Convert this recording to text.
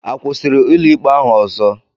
A kwụsịrị ụlọikpe ahụ ọzọ?